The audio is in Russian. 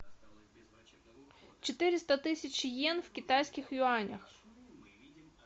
четыреста тысяч йен в китайских юанях